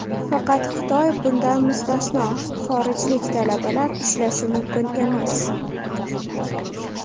Faqat Xitoy bundan mustasno, xorijlik talabalar ishlashi mumkin emas.